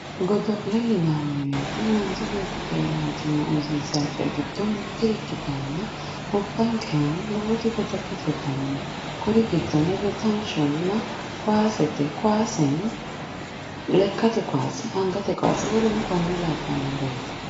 godolle yinanni woyitte manchi betti keranchima uyisisawo coyi gido mitte ikitanna gobankerano lowo godolete danni no kuuri gidonni dodanshonna kowasete kowasseno lekatte kawasse anigate kowasse woleno kone labanoreti